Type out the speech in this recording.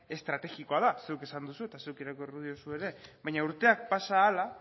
estrategikoa da zuk esan duzu eta zuk irakurriko diozu ere baina urteak pasa ahala